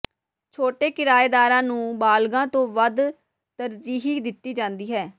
ਛੋਟੇ ਕਿਰਾਏਦਾਰਾਂ ਨੂੰ ਬਾਲਗਾਂ ਤੋਂ ਵੱਧ ਤਰਜੀਹ ਦਿੱਤੀ ਜਾਂਦੀ ਹੈ